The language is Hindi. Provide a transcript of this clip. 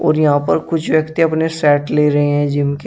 और यहां पर कुछ व्यक्ति अपने सेट ले रहे हैं जिम के--